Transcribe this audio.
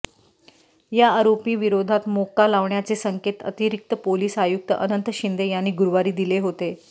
या आरोपींविरोधात मोक्का लावण्याचे संकेत अतिरिक्त पोलिस आयुक्त अनंत शिंदे यांनी गुरुवारी दिले होते